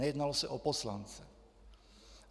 Nejednalo se o poslance.